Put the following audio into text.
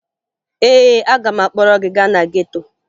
Ee, aga m akpọrọ gị gaa na geto